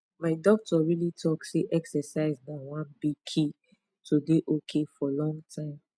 my doctor really talk say exercise na one big key to dey ok for long time